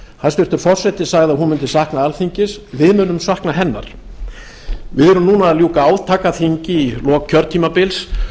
hæstvirtur forseti sagði að hún mundi sakna alþingis við munum sakna hennar við erum núna að ljúka átakaþingi í lok kjörtímabils